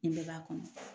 Nin bɛɛ b'a kɔnɔ